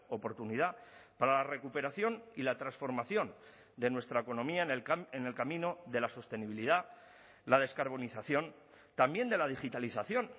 oportunidad para la recuperación y la transformación de nuestra economía en el camino de la sostenibilidad la descarbonización también de la digitalización